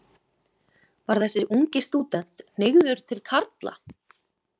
Var þessi ungi stúdent hneigður til karla?